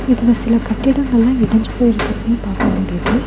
இதுல சில கட்டிடங்கள்லா இடிஞ்சு போயிருக்கறதையு பாக்க முடியுது.